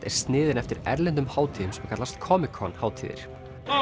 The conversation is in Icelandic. er sniðin eftir erlendum hátíðum sem kallast Comic Con hátíðir